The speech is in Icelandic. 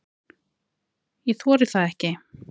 Ég þori það ekki.